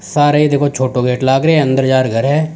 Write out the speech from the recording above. सारे ही देखो छोटो गेट लाग रहे अंदर जार घर है।